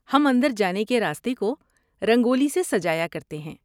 ہم اندر جانے کے راستے کو رنگولی سے سجایا کرتے تھے۔